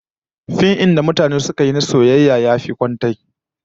Fim din da mutanen suka yi na soyayya yayi kwantai